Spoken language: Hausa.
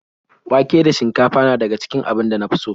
Wake da shinkafa na daga cikin abincin da na fi so.